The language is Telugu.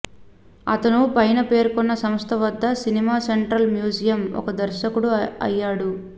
అతను పైన పేర్కొన్న సంస్థ వద్ద సినిమా సెంట్రల్ మ్యూజియం ఒక దర్శకుడు అయ్యాడు